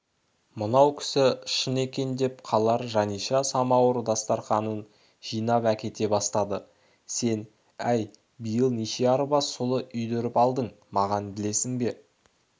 мына кісі шын екен деп қалар жаниша самауыр дастарқанын жинап әкете бастады сен-әй биыл неше арба сұлы үйдіріп алдың маған білесің бе